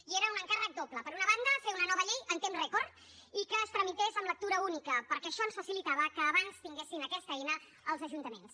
i era un encàrrec doble per una banda fer una nova llei en temps rècord i que es tramités en lectura única perquè això ens facilitava que abans tinguessin aquesta eina els ajuntaments